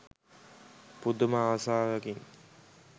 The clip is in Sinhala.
පුදුම ආසාවකින්.